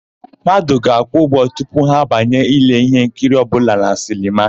Mmadụ ga-akwụ ụgwọ tupu ha banye ile íhénkiri ọbụla na sinema.